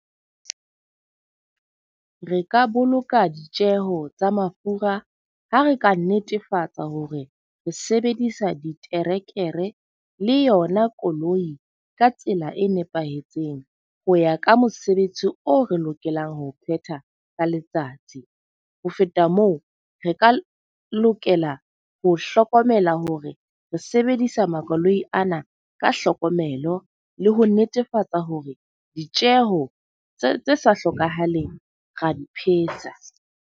Re ka boloka ditjeho tsa mafura ha re ka netefatsa hore re sebedisa diterekere le yona koloi ka tsela e nepahetseng ho ya ka mosebetsi o re lokelang ho phetha ka letsatsi. Ho feta moo, re ka lokela ho hlokomela hore re sebedisa makoloi ana ka hlokomelo le ho netefatsa hore ditjeho tse tse sa hlokahaleng ra di phetsa.